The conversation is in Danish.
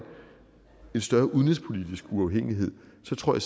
en større udenrigspolitisk uafhængighed så tror